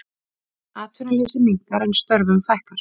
Atvinnuleysi minnkar en störfum fækkar